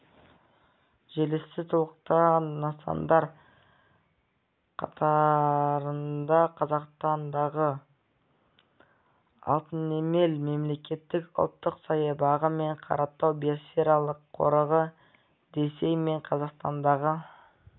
желісін толықтырған нысандар қатарында қазақстандағы алтынемел мемлекеттік ұлттық саябағы мен қаратау биосфералық қорығы ресей мен қазақстандағы